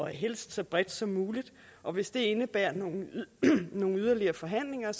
helst så bredt som muligt og hvis det indebærer nogen yderligere forhandlinger